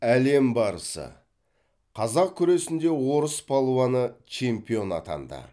әлем барысы қазақ күресінде орыс палуаны чемпион атанды